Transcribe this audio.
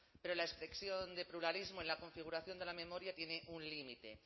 pero la expresión de pluralismo en la configuración de la memoria tiene un límite